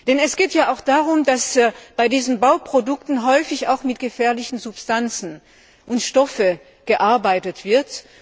Denn es geht auch darum, dass bei diesen Bauprodukten häufig mit gefährlichen Substanzen und Stoffen gearbeitet wird.